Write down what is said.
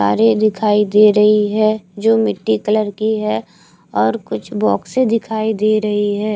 कारें दिखाई दे रही है जो मिट्टी कलर की है और कुछ बॉक्स दिखाई दे रही है।